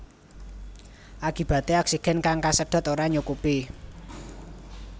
Akibaté oksigen kang kasedhot ora nyukupi